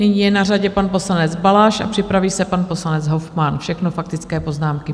Nyní je na řadě pan poslanec Balaš a připraví se pan poslanec Hofmann, všechno faktické poznámky.